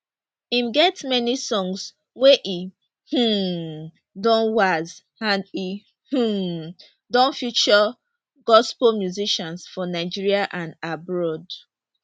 im get many songs wey e um don wax and e um don feature gospel musicians for nigeria and abroad